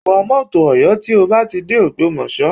Take Oyo motor when you get to Ògbómọ̀ṣọ́